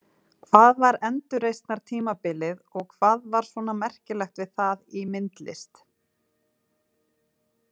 Hvað var endurreisnartímabilið og hvað var svona merkilegt við það í myndlist?